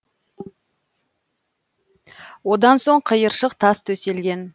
одан соң қиыршық тас төселген